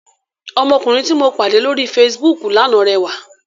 Ọmọkùnrin tí mo pàdé lóri Facebook lánàá rẹwà.